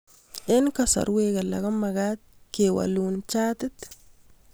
Eng' kasarwek alak ko mag'at kewalun chatit